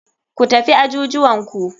Ku tafi ajujuwanku.